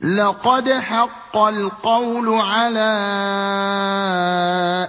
لَقَدْ حَقَّ الْقَوْلُ عَلَىٰ